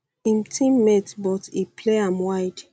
im teammate but um e play am wide